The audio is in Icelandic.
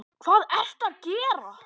Hvað ertu að gera!